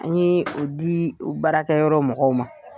An ye u di u baarakɛ yɔrɔ mɔgɔw ma.